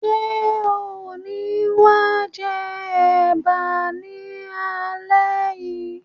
Ṣe o ni wa jẹ ẹ̀bá ni alẹ yìí?